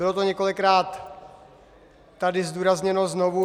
Bylo to několikrát tady zdůrazněno znovu.